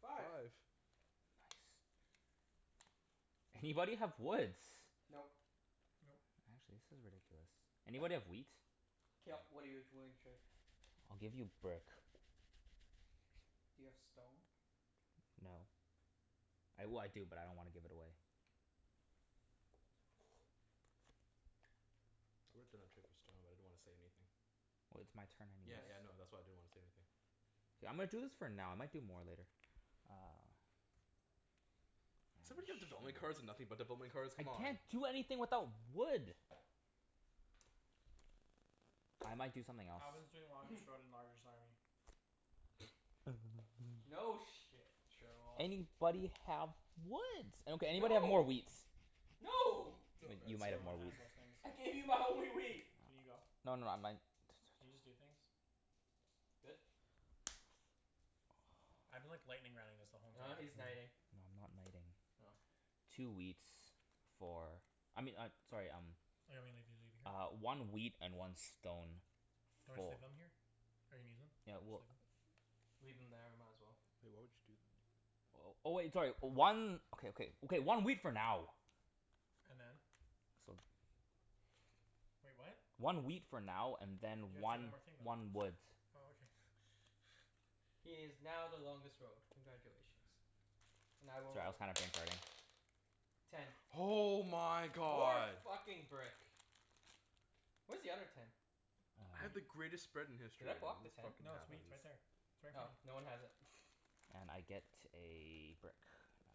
Five. Five. Anybody have woods? Nope. Nope. Actually, this is ridiculous. Anybody have wheat? K, yep. What are you t- willing to trade? I'll give you brick. Do you have stone? No. I, well, I do, but I don't wanna give it away. It's worth in a trade for stone, but I didn't wanna say anything. Well, it's my turn anyways. Yeah, Yes. yeah, no. That's why I didn't wanna say anything. K, I'm gonna do this for now. I might do more later. Uh. Does somebody have Ah, development cards and shit. nothing but development cards? I Come on. can't do anything without wood. I might do something else. Alvin's doing army. No shit, Sherlock. Anybody have woods? Okay, anybody have more No! wheats? No! But you might No have one more wheat. has those things. I gave you my only wheat. Aw, Can you go? no no, I might Can you just do things? Good? I've been like lightning rounding this the whole Ah, entire No, he's no, game. knighting. I'm not knighting. Oh. Two wheats for I mean I, sorry, um leave it Uh, here? one wheat and one stone Do you wanna just fo- leave them here? Or you need them? Yeah, Just well leave them? Leave them there. Might as well. Wait, what would you do? Oh, oh wait, sorry. One Okay, okay. Okay, one wheat for now. And then? So Wait, what? One wheat for now and then You have to take one one more thing, though. one wood. Oh, okay. He is now the longest road. Congratulations. And I will Sorry, I was roll. kinda brain farting. Ten. Oh my More god! fucking brick. Where's the other ten? I had the Wheat. Ah greatest spread in Should history I and block then the this ten? fucking No, it's Oh. wheat happens. right there. It's right in Oh, front of no you. one has it. And I get a brick. No.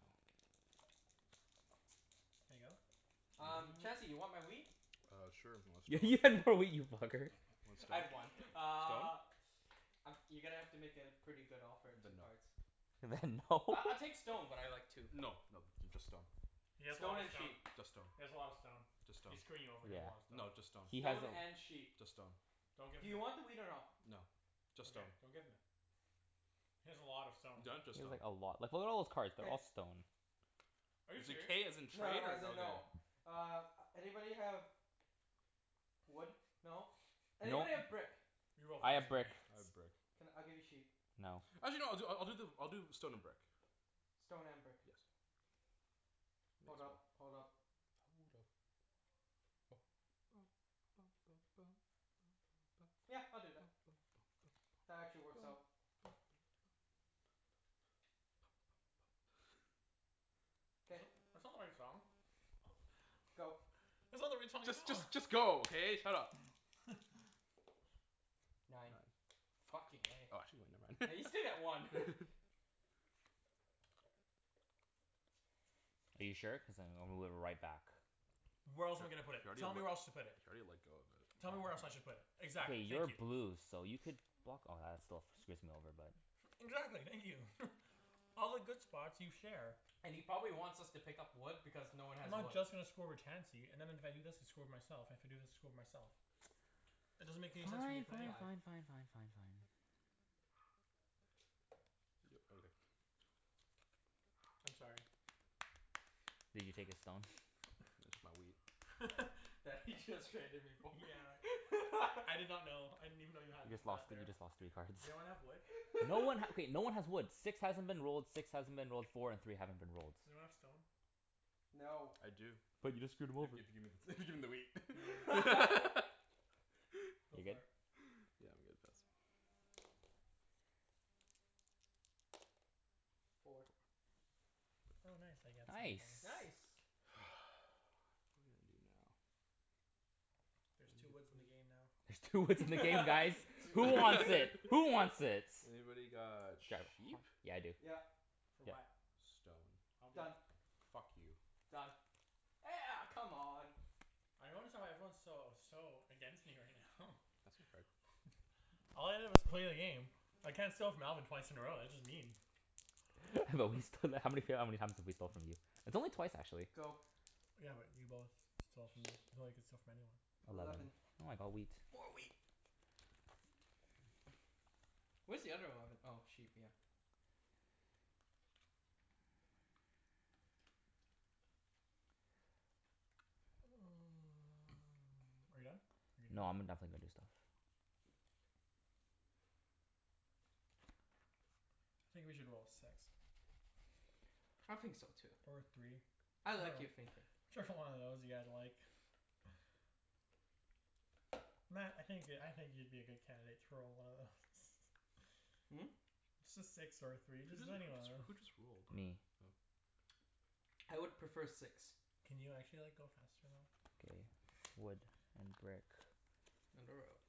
Can I go? Um, Mhm. Chancey? You want my wheat? Uh, sure. Y- You you want stone? had more wheat, you fucker. Want I stone? had one. Stone? Uh Um, you're gonna have to make it a pretty good offer at two Then no. cards. Then no. I I'll take stone, but I like two. No no, th- just stone. He has a lot Stone of and stone. sheep. Just stone. He has a lot of stone. Just stone. He's screwing you over. He has a lot Yeah. of stone. No, just stone. He has Stone a l- and sheep. Just stone. Don't give Do him you it. want the wheat or no? No. Just Okay. stone. Don't give him it. He has a lot of stone. He No, just has like stone. a lot. Like what are all those cards? They're K. all stone. Are you Is it "k" as serious? in No no, trade, or as in no no. k? Uh, anybody have wood? No? No. Anybody have brick? You will I find have brick. someone. I have brick. Can, I'll give you sheep. No. Actually no, I'll do I I'll do the I'll do stone and brick. Stone and brick. Yes. That's Hold up. right. Hold up. Hold up. Yeah, I'll do that. That actually works out. That's K. not, that's not the right song. Go. That's not the right song at Just all. just just go, okay? Shut up. Nine. Nine. Fucking eh. Oh actually no, never Yeah, you still get one. mind. Are you sure? Cuz I'm gonna move it right back. Where else am I K. gonna put You it? Tell me already where else let to put You it. already let go of it. Tell me where else I should put it? K, Exactly. Thank you're you. blue so you could block, oh that still f- screws me over but Exactly. Thank you. All the good spots, you share. And he probably wants us to pick up wood because no one I'm has not wood. just gonna screw over Chancey and then if I do this I screw with myself and if I do this, I screw with myself. It doesn't Fine, make any sense for me to fine, put fine, Five. anywhere. fine, fine, fine, fine. Yep, okay. I'm sorry. Did you take his stone? Just my wheat. That he just traded me for. Yeah. I did not know. I didn't even know you had You just lost that thr- you there. just lost three cards. Does anyone have wood? No one ha- okay, no one has woods. Six hasn't been rolled, six hasn't been rolled, four and three haven't been rolled. Does anyone have stone? No. I do. But you just screwed If him over. if you gimme the gimme the wheat. No. Go You good? for it. Yeah, I'm good. Pass. Four. Oh, nice. I get Nice. something. Nice. What am I gonna do now? There's two woods in the game now. There's two woods in the game, guys! Who wants Two it? Who wants its? Anybody got sheep? Yeah, I do. Yep. For Yep. what? Stone. I'll do Done. it. Fuck you. Done. Eh a- come on! I notice how everyone's so so against me right now. Pass me a card. All I did was play a game. I can't steal off Alvin twice in a row. That's just mean. But we sto- how many f- how many times have we stole from you? It's only twice, actually. Go. Yeah, but you both stole from me. Even though you could steal from anyone. Eleven. Eleven. Oh, I got wheat. More wheat. Where's the other eleven? Oh, sheep, yeah. Are you done? Are you gonna No, do anything? I'm go- definitely gonna do stuff. I think we should roll a six. I think so, too. Or a three. I like your thinking. Whichever one of those you guys like. Mat, I think you could, I think you'd be a good candidate to roll one of those. Hmm? Just a six or a three. Just Who j- who any one of jus- who those. just rolled? Me. Oh. I would prefer six. Can you actually like, go faster, though? K. Wood and brick.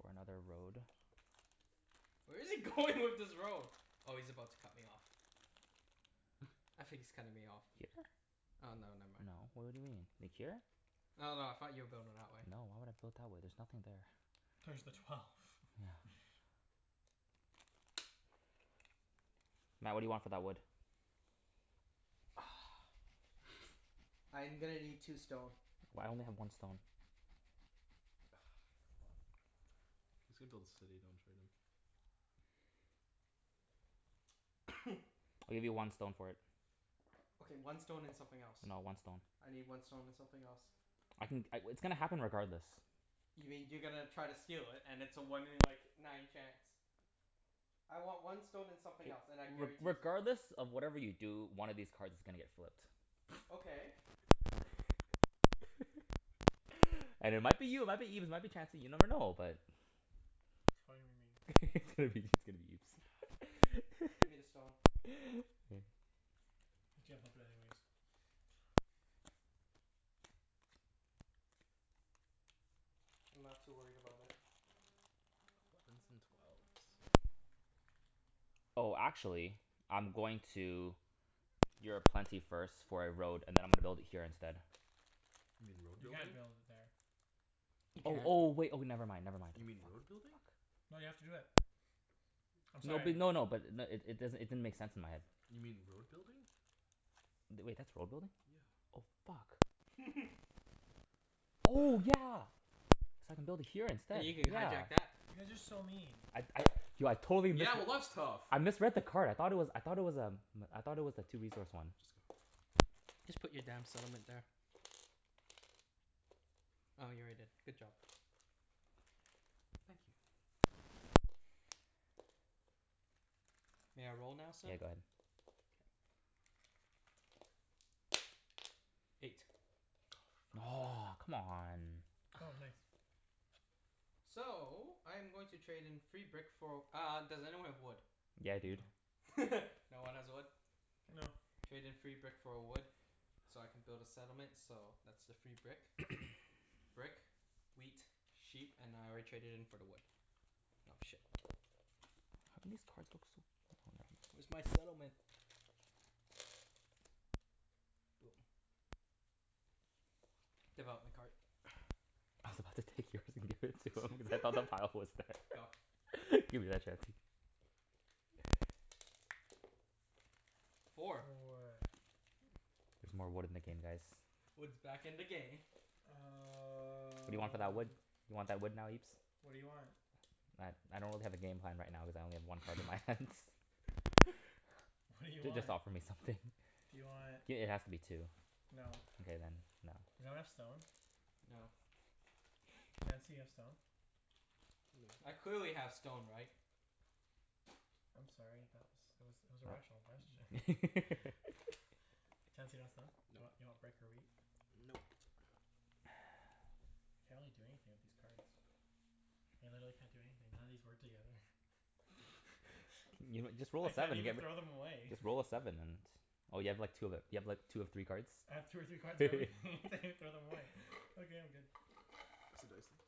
For another road. Where is he going with this road? Oh, he's about to cut me off. I think he's cutting me off here. Here? Oh no, never mind. No. W- what do you mean? Like, here? No, no, I thought you were building that way. No, why would I build that way? There's nothing there. There's the twelve. No. Mat, what do you want for that wood? I'm gonna need two stone. Well I only have one stone. Come on. He's gonna build a city. Don't trade him. I'll give you one stone for it. Okay, one stone and something else. No, one stone. I need one stone and something else. I can c- w- it's gonna happen regardless. You mean you're gonna try to steal it and it's a one in like, nine chance. I want one stone and something else, and I- I re- guarantee you regardless of whatever you do, one of these cards is gonna get flipped. Okay. And it might be you, it might be Ibs, it might be Chancey, you never know. But It's probably gonna be me. It's gonna be, it's gonna be Ibs. Ah, fine. Give me the stone. You can't flip it anyways. I'm not too worried about it. Elevens and twelves. Oh, actually I'm going to you're a plenty first for a road, and then I'm gonna build it here instead. You mean road You can't building? build it there. You Oh, can't. oh wait, oh never mind, never mind. You mean Fuck. road Fuck. building? No, you have to do it. I'm No b- sorry. no no, but i- n- it does'n- it didn't make sense in my head. You mean road building? Th- wait, that's road building? Yeah. Oh fuck. Oh yeah! So I can build it here instead. You can Yeah. hijack that. You guys are so mean. I'd I du- I totally missed Yeah, well, it. that's tough. I misread the card. I thought it was, I thought it was um I thought it was a two resource one. Just go. Just put your damn settlement there. Oh, you already did. Good job. Thank you. May I roll now, sir? Yeah, go ahead. K. Eight. Oh fuck. Aw, come on. Oh, nice. So, I'm going to trade in free brick for uh, does anyone have wood? Yeah dude. No. No one has wood? K. No. Trade in free brick for a wood so I can build a settlement so that's the free brick. Brick, wheat, sheep, and I already traded in for the wood. Oh, shit. How come these cards look so Where's my settlement? Boom. Development card. I was about to take yours and give it to him cuz I thought the pile was there. Go. Give me that Chancey. Four. Four. There's more wood in the game, guys. Wood's back in the game. What do you want for that wood? Um You want that wood now, Ibs? What do you want? I I don't really have a game plan right now cuz I only have one card in my hands. What do you J- just want? offer me something. Do you want I- it has to be two. No. Okay then, no. Does anyone have stone? No. Chancey, you have stone? No. I clearly have stone, right? I'm sorry, that was, it was it was a rational question. What? Chancey, you got stone? You want you Nope. want brick or wheat? Nope. I can't really do anything with these cards. I literally can't do anything. None of these work together. You know, just roll I a can't seven, you even get throw w- them away. Just roll a seven and Oh, you have like two of ev- you have like two of three cards? I have two or three cards of everything. I can't even throw them away. Okay, I'm good. Pass the dice then.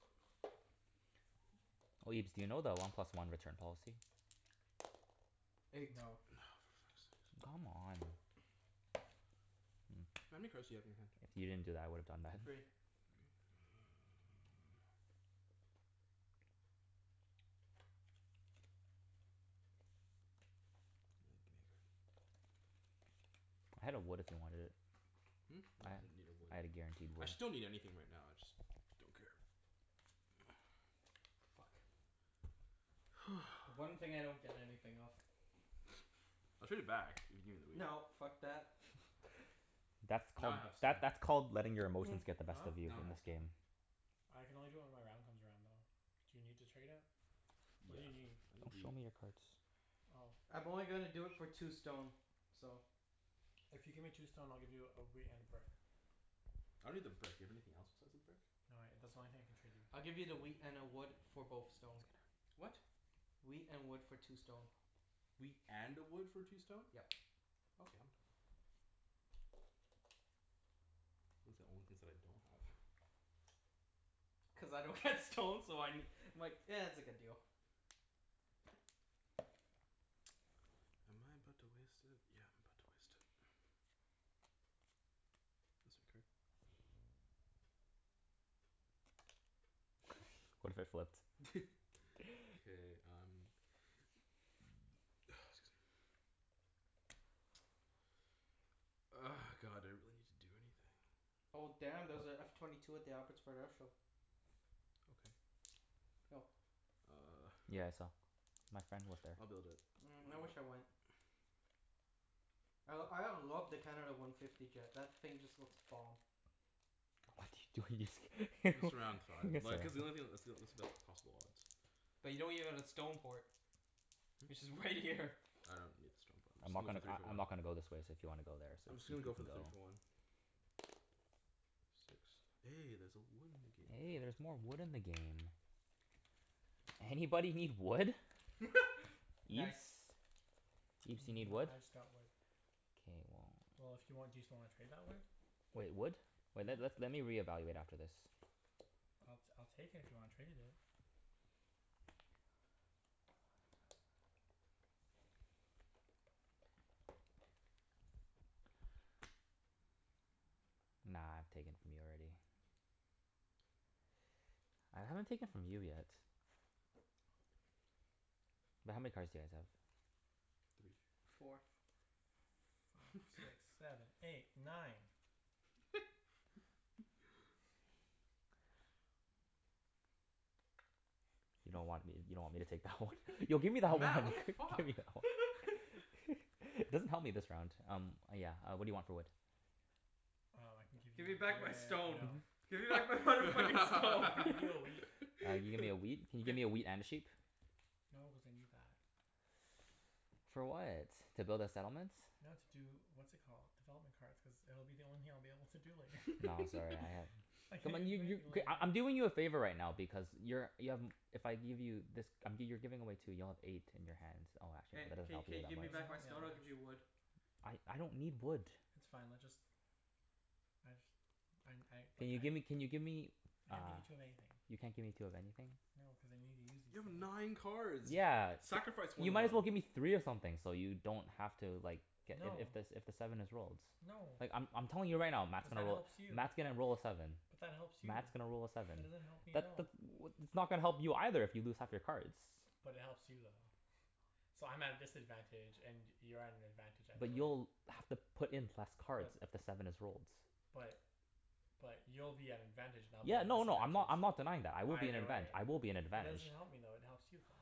Oh, Ibs, do you know the one plus one return policy? Eight. No. For fuck's sakes. Come on. Mm. How many cards do you have in your hand? If you didn't do that I would've done that. Three. Three? All right, gimme a card. I had a wood if you wanted it. Hmm? I No, ha- I didn't need a wood. I had a guaranteed I wood. actually don't need anything right now. I just don't care. Fuck. The one thing I don't get anything of. I'll trade it back if you gimme the wheat. No, fuck that. That's Now called, I have that stone. that's called letting your emotions get the best Huh? of you Now I in have this stone. game. I can only do it when my round comes around, though. Do you need to trade it? What Yeah. do you need? I need Don't show wheat. me your cards. Oh. I'm only gonna do it for two stone. So If you give me two stone I'll give you a wheat and a brick. I don't need the brick. Do you have anything else besides the brick? No, I, that's the only thing I can trade you. I'll give you the wheat and a wood for both stone. What? Wheat and wood for two stone. Wheat and a wood for two stone? Yep. Okay, I'm done. Those are the only things that I don't have. Cuz I don't get stone so I ne- I'm like, it's a good deal. Am I about to waste it? Yeah, I'm about to waste it. Pass a card? What if I flipped? K, I'm Ah, excuse me. God, I don't really need to do anything. Oh damn, there's a F twenty two at the Abbotsford Air Show. Okay. Yo. Uh Yeah, I saw. My friend was there. I'll build it. Mm, Why I not? wish I went. I l- I love the Canada one fifty jet. That thing just looks bomb. What you do- Just around five. Like cuz the only thing, that's the onl- that's the best possible odds. But you don't even have a stone port. Which Hmm? is right here. I don't need the stone port. I'm I'm just not gonna go for gonna, three I for I'm one. not gonna go this way, so if you wanna go there I'm just gonna you go for can the three go. for one. Six. Hey, there's a wood in the game now. Hey, there's more wood in the game. Anybody need wood? Ibs? Nice. Ibs, you Even need though wood? I just got wood. K, well Well, if you want, do you still wanna trade that wood? Wait, wood? Wait, let's Yeah? let me reevaluate after this. I'll t- I'll take it if you wanna trade it. Nah, I've taken from you already. I haven't taken from you yet. But how many cards do you guys have? Three. Four. Five six seven eight nine. You don't want me, you don't want me to take that one? Yo, give me that one. Mat! What the Give fuck? me that one. It doesn't help me this round. Um, uh yeah, uh what do you want for wood? Um, I can give you Give me the, back my stone. no. Give me back my mother fucking I stone. can give you a wheat. Uh, you give me a wheat? Can you give me a Gi- wheat and a sheep? No, cuz I need that. For what? To build a settlement? No, to do, what's it called? Development cards, cuz it'll be the only thing I'll be able to do later. No, sorry, I have I Come can't on, even you do you anything Okay, later. I I'm doing you a favor right now because you're y- um if I give you this um, g- you're giving away two. You'll have eight in your hands. Oh, actually, Hey, that doesn't k help k you That give me doesn't that much. back help my me stone, I'll give you that much. wood. I I don't need wood. It's fine, let just I just I n- I, like, Can you I gimme, can you give me I uh, can't give you two of anything. you can't give me two of anything? No, cuz I need to use these You have things. nine cards! Yeah. Sacrifice You one of might them. as well give me three of something so you don't have to like get if No. if the s- if the seven is rolled. No. Like, I'm I'm telling you right now, Mat's Cuz gonna that roll helps you. Mat's gonna roll a seven. But that helps you. Mat's gonna roll a seven. That doesn't help me at That the all. th- what that's not gonna help you either if you lose half your cards. But it helps you, though. So, I'm at a disadvantage and you're at an advantage either But way. you'll have to put in less But cards if the seven is rolled. But But you'll be at an advantage and I'll be Yeah, at a no no, I'm disadvantage. not, I'm not denying that. I will be in Either advantag- way. I will be in But that doesn't advantage. help me though. It helps you, though.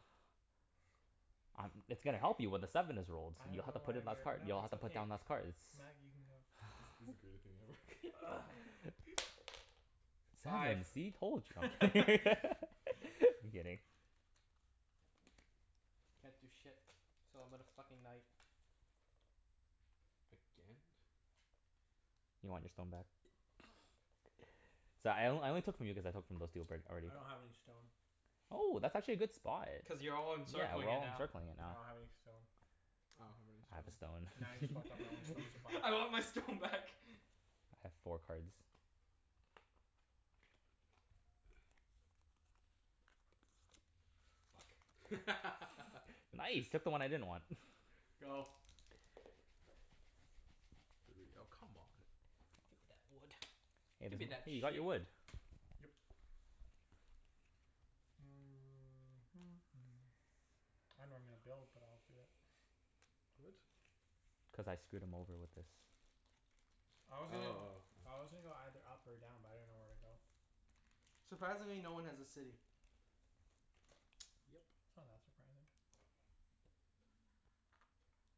I'm, it's gonna help you when the seven is rolled. I don't You'll have know to put why in less we're, card, no, you'll have it's to put okay. down less cards. Mat, you can go. This this is greatest thing ever. Seven. Sive. See? Told y- I'm kidd- I'm kidding. Can't do shit, so I'm gonna fucking knight. Again? You want your stone back? Sorry, I on- I only took from you cuz I took from those two albr- I already. don't have any stone. Oh, that's actually a good spot. Cuz you're all Yeah, we're encircling it all now. encircling it I now. don't have any stone. I don't have any I have a stone. Now you just fucked up my only stone. stone supply. I want my stone back. I have four cards. Fuck. Nice! Took the one I didn't want. Go. Three. Oh, come on. Give me that wood. Hey Give me there's a, that hey, you got sheep. your wood. Yep. I dunno where I'm gonna build, but I'll do it. What? Cuz I screwed him over with this. I was Oh, oh, gonna go oh. I was gonna go either up or down, but I didn't know where to go. Surprisingly, no one has a city. Yep. It's not that surprising.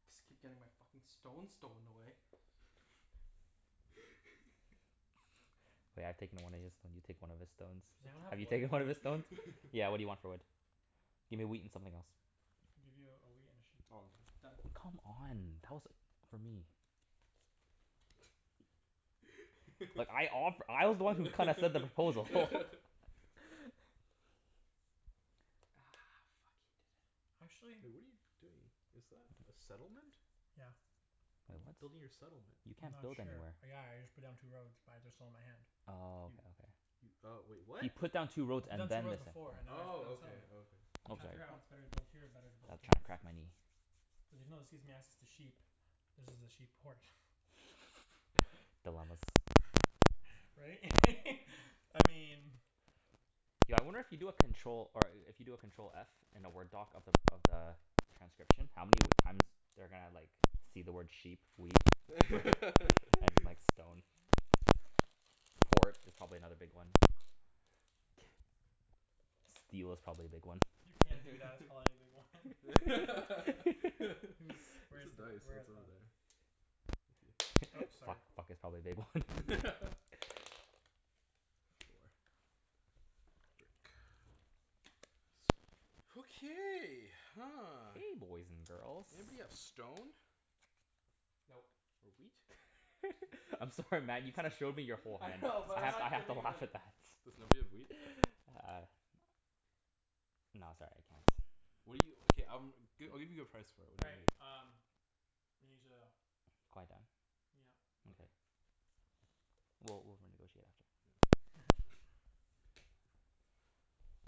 Just keep getting my fucking stone stolen away. taken one of his, now you take one of his stones. Does anyone have Have you wood? taken one of his stones? Yeah, what do you want for wood? Give me wheat and something else. I'll give you a wheat and a sheep. Oh, I'm done. Done. Come on, tell us, for me. But I offe- I was the one who kinda said the proposal. Ah, fuck. He did it. Actually Hey, what are you doing? Is that a settlement? Yeah. A How are you what? building your settlement? You I'm can't not build sure. anywhere. Yeah, I just put down two roads, but I just sold my hand. Oh, You okay okay. You oh, wait. What? He put down two I roads put down and two then roads the set- before and now I'm building a Oh, okay. settlement. Okay. I'm I'm trying to sorry. figure out Oh. if it's better to build here or better to I was build trying here. to crack my knee. Cuz even though this gives me access to sheep this is a sheep port. Dilemmas. Right? I mean Yo, I wonder if you do a control, or a- if you do a control f in a Word doc of the of the transcription, how many w- times they're gonna like see the word sheep, wheat and like stone? Port is probably another big one. Steel is probably a big one. You can't do that, it's probably a big one. Where's He's, where's the the, dice? Oh, where, it's over oh there. Thank you. Oops, Fuck, sorry. fuck is probably a big one. Four. Dirk. Jerk. So much wood. Okay, huh. Okay, boys and girls. Anybody have stone? Nope. Or wheat? I'm sorry Mat, you kinda showed me your whole I hand know, but I I'm have I not have to giving him laugh any. at that. Does nobody have wheat? Uh No, sorry. I can't. What do you, okay, um, g- I'll give you a good price for it. All What do you right, need? um we need to Quiet down? Yep. Mkay. Well, we'll renegotiate after. Yeah.